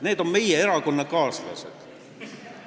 Need on meie erakonnakaaslased.